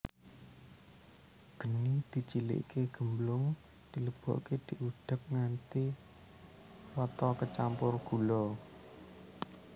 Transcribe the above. Geni dicilike gemblong dilebokke diudhek nganti rata kecampur gula